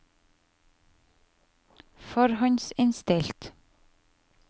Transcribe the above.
forhåndsinnstilt